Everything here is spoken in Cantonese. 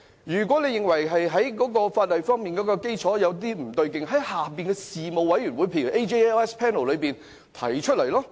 如果認為法例基礎方面有不足之處，應在事務委員會，例如司法及法律事務委員會內提出。